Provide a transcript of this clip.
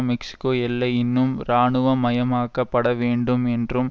Mexico எல்லை இன்னும் இராணுவமயமாக்கப்பட வேண்டும் என்றும்